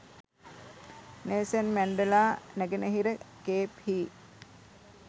Nelson Mandela නැගෙනහිර Cape හි